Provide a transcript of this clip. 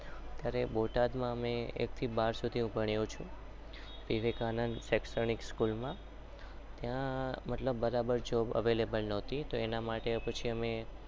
અરે બોટાદ માં અમે એક થી બાર